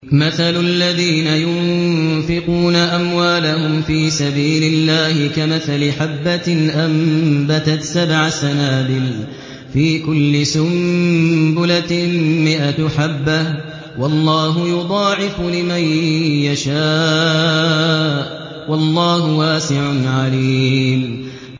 مَّثَلُ الَّذِينَ يُنفِقُونَ أَمْوَالَهُمْ فِي سَبِيلِ اللَّهِ كَمَثَلِ حَبَّةٍ أَنبَتَتْ سَبْعَ سَنَابِلَ فِي كُلِّ سُنبُلَةٍ مِّائَةُ حَبَّةٍ ۗ وَاللَّهُ يُضَاعِفُ لِمَن يَشَاءُ ۗ وَاللَّهُ وَاسِعٌ عَلِيمٌ